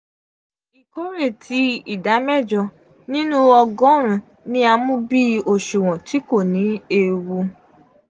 ikore ti ida mejo ninu ogorun-un ni a mu bi oṣuwọn ti ko ni eewu.